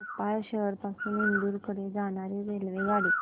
भोपाळ शहर पासून इंदूर कडे जाणारी रेल्वेगाडी